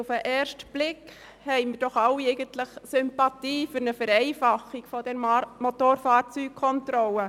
Auf den ersten Blick haben wir alle Sympathie für eine Vereinfachung der Motorfahrzeugkontrolle.